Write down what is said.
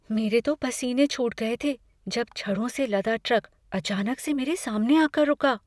मेरे तो पसीने छूट गए थे जब छड़ों से लदा ट्रक अचानक से मेरे सामने आकर रुका।